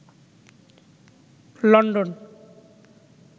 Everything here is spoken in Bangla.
লন্ডন